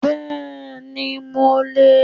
Bẹ́ẹ̀ni mo le è